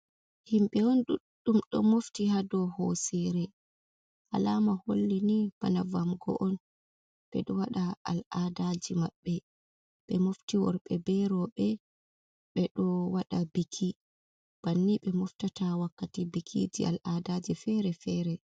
Himɓe ɓe on duɗɗum ɗo mofti hadou hoosere, alama holli ni bana vamgo on, ɓe ɗo wada al'adaji maɓɓe, be mofti worbe be rewbe ɓe ɗo waɗa, biki banni ɓe moftata wakkati bikiji al'adaji fere-fere..